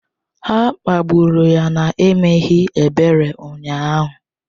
Ha kpagburu ya n'emeghị ebere ụnyahụ.